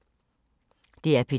DR P2